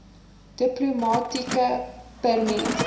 diplomatieke permit